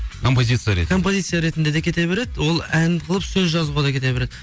композиция ретінде композиция ретінде де кете береді ол ән қылып сөз жазуға да кете береді